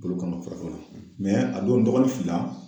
Bolo kɔnɔ fara a don n dɔgɔnin fill la